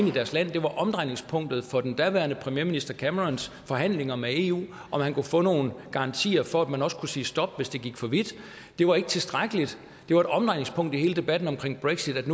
i deres land det var omdrejningspunktet for den daværende premierminister camerons forhandlinger med eu om han kunne få nogen garantier for at man også kunne sige stop hvis det gik for vidt det var ikke tilstrækkeligt det var et omdrejningspunkt i hele debatten omkring brexit at